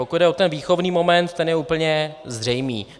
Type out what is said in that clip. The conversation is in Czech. Pokud jde o ten výchovný moment, ten je úplně zřejmý.